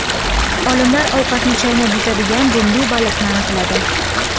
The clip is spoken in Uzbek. Olimlar ovqatni chaynab yutadigan dumli baliqni aniqladi.